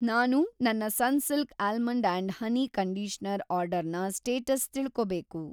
ನಾನು ನನ್ನ ‌ Sunsilk almond and honey conditioner ಆರ್ಡರ್‌ನ‌ ಸ್ಟೇಟಸ್‌ ತಿಳ್ಕೋಬೇಕು.